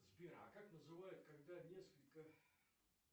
сбер а как называют когда несколько